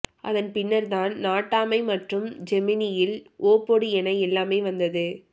அதன் பின்னர் தான் நாட்டாமை மற்றும் ஜெமினியில் ஓ போடு என எல்லாமே வந்தது